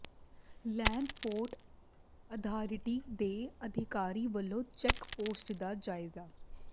land port authority ਦੇ ਅਧਿਕਾਰੀ ਵੱਲੋਂ ਚੈੱਕ ਪੋਸਟ ਦਾ ਜਾਇਜ਼ਾ